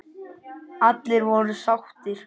Allir voru sáttir.